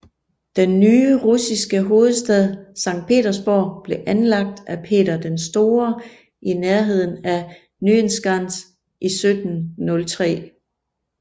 Den nye russiske hovedstad Sankt Petersborg blev anlagt af Peter den Store i nærheden af Nyenskans i 1703